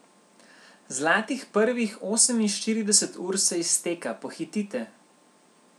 Zlatih prvih oseminštirideset ur se izteka, pohitite.